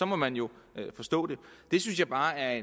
må man jo forstå det det synes jeg bare er